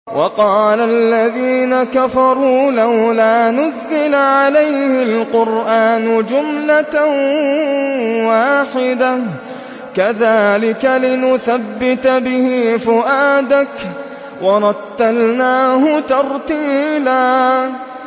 وَقَالَ الَّذِينَ كَفَرُوا لَوْلَا نُزِّلَ عَلَيْهِ الْقُرْآنُ جُمْلَةً وَاحِدَةً ۚ كَذَٰلِكَ لِنُثَبِّتَ بِهِ فُؤَادَكَ ۖ وَرَتَّلْنَاهُ تَرْتِيلًا